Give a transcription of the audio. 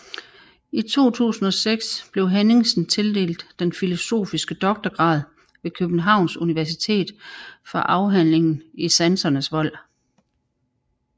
I 2006 blev Henningsen tildelt den filosofiske doktorgrad ved Københavns Universitet for afhandlingen I sansernes vold